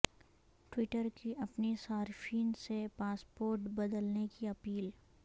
Twitter کی اپنے صارفین سے پاسپورڈ بدلنے کی اپیل